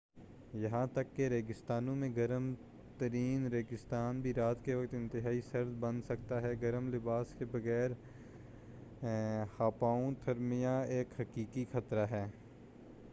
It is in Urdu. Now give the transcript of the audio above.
یہاں تک کہ ریگستانوں میں گرم ترین ریگستان بھی رات کے وقت انتہائی سرد بن سکتا ہے گرم لباس کے بغیر ہائپوتھرمیا ایک حقیقی خطرہ ہے